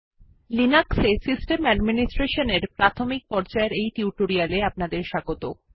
লিনাক্সে system administration এর প্রাথমিক পর্যায়ের এই টিউটোরিয়ালে আপনাদের স্বাগত